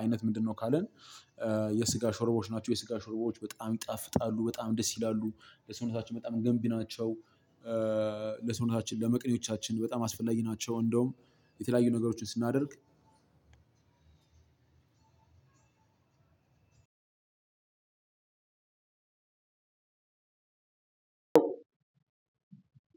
አይነት ምንድነው? ካልን የስጋ ሾርቦዎች ናቸው። የስጋ ሾርቦዎች በጣም ይጣፍጣሉ በጣም ደስ ይላሉ። ለሰውነታችን በጣም ገንቢ ናቸው። ለሰውነታችን ለመቅኔዎቻችን በጣም አስፈላጊ ናቸው። እንደውም የተለያዩ ነገሮችን ስናደርግ አዎ